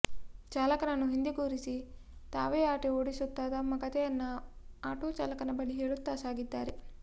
ಚಾಲಕನನ್ನು ಹಿಂದೆ ಕೂರಿಸಿ ತಾವೇ ಆಟೋ ಓಡಿಸುತ್ತಾ ತಮ್ಮ ಕತೆಯನ್ನ ಆಟೋ ಚಾಲಕನ ಬಳಿ ಹೇಳುತ್ತಾ ಸಾಗಿದ್ದಾರೆ